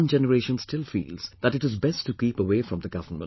One generation still feels that it is best to keep away from the government